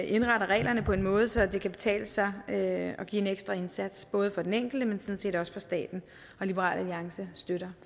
indretter reglerne på en måde så det kan betale sig at give en ekstra indsats både for den enkelte men sådan set også for staten liberal alliance støtter